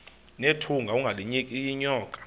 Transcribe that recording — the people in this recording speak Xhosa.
nethunga ungalinik unyoko